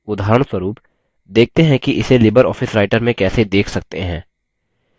पहले base window से writer खोलें